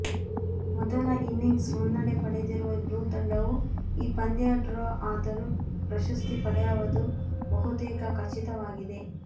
ಮೊದಲ ಇನಿಂಗ್ಸ್ ಮುನ್ನಡೆ ಪಡೆದಿರುವ ಬ್ಲ್ಯೂ ತಂಡವು ಈ ಪಂದ್ಯ ಡ್ರಾ ಆದರೂ ಪ್ರಶಸ್ತಿ ಪಡೆಯುವದು ಬಹುತೇಕ ಖಚಿತವಾಗಿದೆ